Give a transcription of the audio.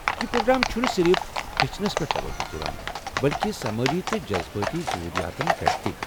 یہ پروگرام چُھنہٕ صرف ہیٚچھنس پٮ۪ٹھ توجہ دوان بٔلکہ سمٲجی تہ جذبٲتی ضروٗریاتن پٮ۪ٹھ تہ۔